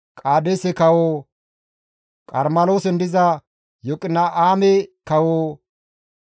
Qaadeese kawo, Qarmeloosen diza Yoqina7aame kawo,